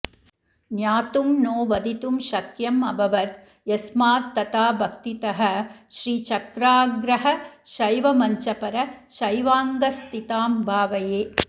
ज्ञातुम् नो वदितुं शक्यमभवद् यस्मात् तथा भक्तितः श्रीचक्राग्रगशैवमञ्चपरशैवाङ्कस्थितां भावये